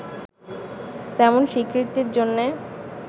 তেমন স্বীকৃতির জন্য